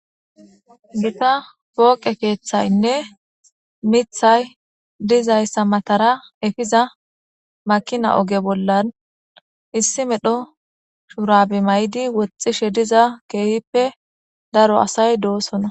gita pooqe keeththaynne mithay dizayssa matara efiza makina oge bollan issi medho shurabe maydi woxxishe diza keehippe daro asay doosona